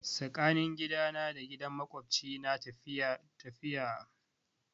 Tsakanin gidana da gidan makwabci na 'taku' biyar ne.